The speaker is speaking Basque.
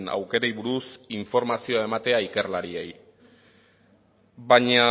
aukerei buruz informazioa ematea ikerlariei baina